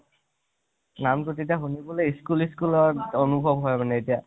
নাম তো তেতিয়া school, school ৰ আনুভৱ হয় মানে এতিয়া